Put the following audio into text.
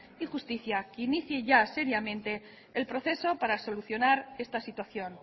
y justicia que inicie ya seriamente el proceso para solucionar esta situación